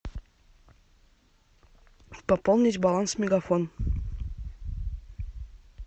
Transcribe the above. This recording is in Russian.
пополнить баланс мегафон